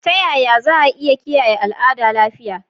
Ta Yaya Za'a Iya Kiyaye Al'ada Lafiya?